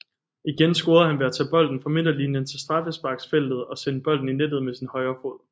Igen scorede han ved at tage bolden fra midterlinjen til straffesparksfeltet og sende bolden i nettet med sin højre fod